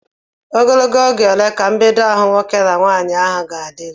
Ogologo oge ole ka mbedo ahụ nwoke na nwaanyị ahụ ga-adịru?